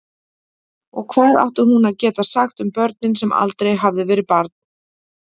Og hvað átti hún að geta sagt um börn sem aldrei hafði verið barn?